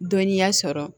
Dɔnniya sɔrɔ